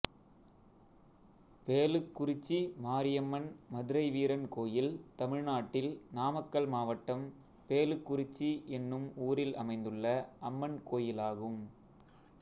பேளுக்குறிச்சி மாரியம்மன் மதுரைவீரன் கோயில் தமிழ்நாட்டில் நாமக்கல் மாவட்டம் பேளுக்குறிச்சி என்னும் ஊரில் அமைந்துள்ள அம்மன் கோயிலாகும்